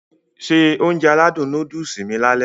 Se Ounjẹ aládùn nóódùsì mi lálẹ́